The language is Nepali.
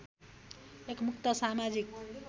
एक मुक्त समाजिक